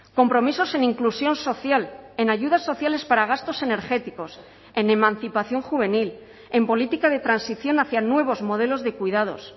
compromisos en inclusión social en ayudas sociales para gastos energéticos en emancipación juvenil en política de transición hacia nuevos modelos de cuidados